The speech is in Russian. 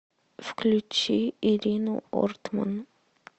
включи ирину ортман